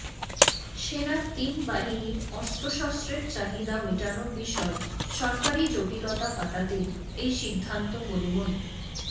সেনার তিন বাহিনীর অস্ত্রশস্ত্রের চাহিদা মেটানোর বিষয় সরকারি জটিলতা কাটাতেই এই সিদ্ধান্ত বলে মনে